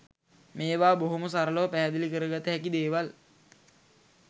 මේවා බොහෝම සරලව පැහැදිලි කරගත හැකි දේවල්.